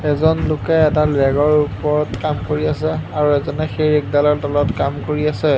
এজন লোকে এডাল ৰেগৰ ওপৰত কাম কৰি আছে আৰু এজনে সেই ৰেগডালৰ তলত কাম কৰি আছে।